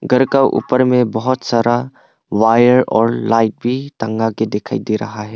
घर का ऊपर में बहुत सारा वायर और लाइट भी टंगा के दिखाई दे रहा है।